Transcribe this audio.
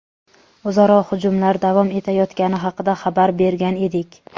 o‘zaro hujumlar davom etayotgani haqida xabar bergan edik.